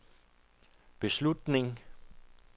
beslutning